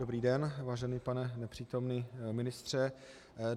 Dobrý den, vážený pane nepřítomný ministře.